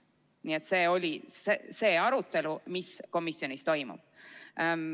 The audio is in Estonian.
Nii et see oli arutelu, mis komisjonis toimus.